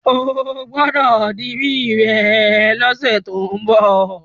O gbọ́dọ̀ dirí rẹ lọ́sẹ̀ tó ń bọ̀.